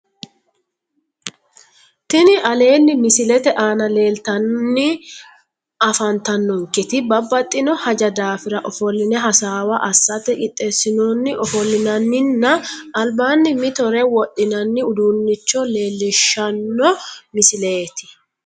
Tini aleenni misilete aana leeltanno afantannonketi babbaxxino haja daafira ofolline hasaawa assate qineessinoonni ofollinanninna albanni mitore wodhinanni uduunnicho leellishshanno misileeti